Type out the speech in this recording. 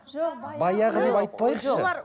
жоқ баяғы деп айтпайықшы